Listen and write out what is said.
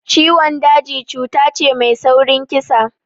Ciwon daji cuta ce mai saurin kisa